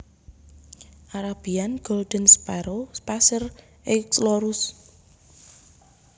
Arabian Golden Sparrow Passer euchlorus